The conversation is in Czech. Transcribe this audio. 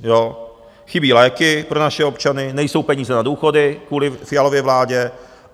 Chybí léky pro naše občany, nejsou peníze na důchody kvůli Fialově vládě.